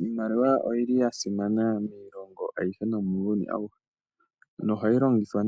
Iimaliwa oya simana miilongo nomuuyuni awuhe. Ohayi longithwa